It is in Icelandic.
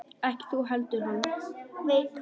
Ekki þú heldur hann.